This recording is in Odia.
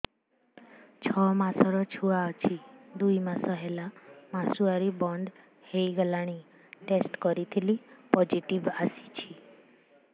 ଛଅ ମାସର ଛୁଆ ଅଛି ଦୁଇ ମାସ ହେଲା ମାସୁଆରି ବନ୍ଦ ହେଇଗଲାଣି ଟେଷ୍ଟ କରିଥିଲି ପୋଜିଟିଭ ଆସିଛି